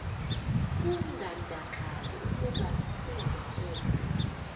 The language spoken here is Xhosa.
kungandakali ukuba sizekelwe